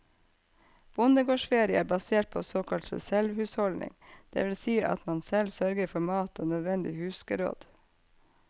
Bondegårdsferie er basert på såkalt selvhusholdning, det vil si at man selv sørger for mat og nødvendig husgeråd.